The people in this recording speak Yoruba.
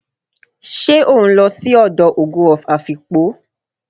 se o nlo si odo "ogo of Afikpo"?